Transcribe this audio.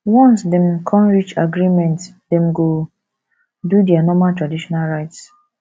once dem con reach agreement dem go do dia normal traditional rites